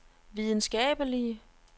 videnskabelige